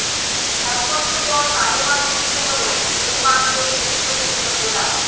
এক বছর পর তালেবান মুক্ত হলো হেলমান্দের গুরুত্বপূর্ণ জেলা